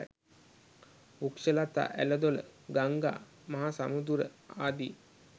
වෘක්ෂලතා, ඇළ දොළ, ගංගා, මහා සමුදුර ආදී